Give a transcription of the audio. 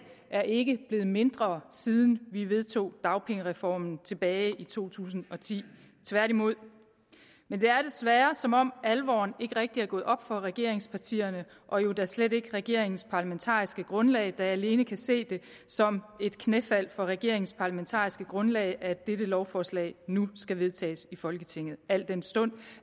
er ikke blevet mindre siden vi vedtog dagpengereformen tilbage i to tusind og ti tværtimod men det er desværre som om alvoren ikke rigtig er gået op for regeringspartierne og jo da slet ikke for regeringens parlamentariske grundlag der alene kan se det som et knæfald for regeringens parlamentariske grundlag at dette lovforslag nu skal vedtages i folketinget al den stund